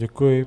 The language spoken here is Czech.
Děkuji.